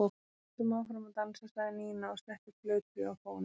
Höldum áfram að dansa, sagði Nína og setti plötu á fóninn.